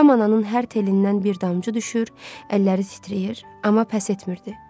Kamananın hər telindən bir damcı düşür, əlləri sitriyir, amma pəs etmirdi.